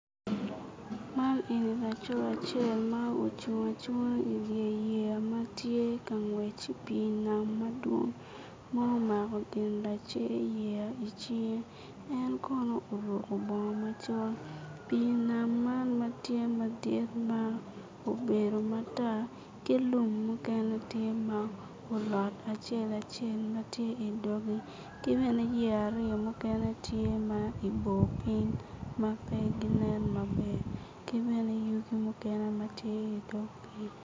Man eni laco adel ma ocung acunga i wi yeya ma tye ka ngwec i wi pii nam madwong ma omako gin lace yeya i cinge en kono oruko bongo macol pii nam man matye madit ma obedo matar ki lum mukene tye ma olot acel acel matye idoge ki bene yeya aryo mukene tye ma ibo piny ma pe ginen maber ki bene yugi muken ma tye idog pii